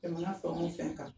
Jamana fɛn o fɛn kan